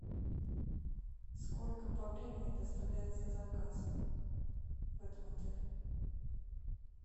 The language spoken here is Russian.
сколько по времени доставляется заказ в этом отеле